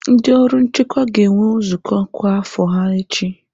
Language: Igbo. Ndị ọrụ nchekwa ga-enwe nzukọ kwa afo ha echi.